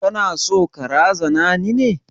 Kana so ka razana ni ne?